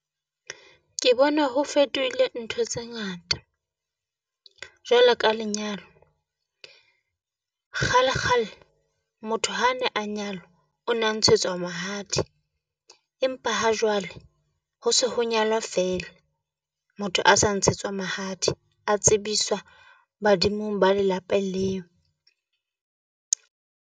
Ke bona ho fetohile ntho tse ngata, jwalo ka lenyalo. Kgale kgale motho ha ne a nyalwa, o na ntshetswa mahadi empa ha jwale ho se ho nyalwa feela. Motho a sa ntshetswa mahadi a tsebiswa badimong ba lelapeng leo.